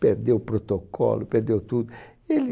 Perdeu o protocolo, perdeu tudo. Ele